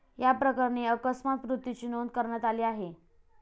याप्रकरणी अकस्मात मृत्यूची नोंद करण्यात आली आहे.